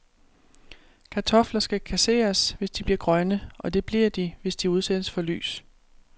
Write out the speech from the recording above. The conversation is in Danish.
Kartofler skal kasseres, hvis de bliver grønne, og det bliver de, hvis de udsættes for lys.